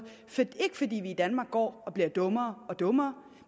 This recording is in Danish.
ikke fordi vi i danmark går og bliver dummere og dummere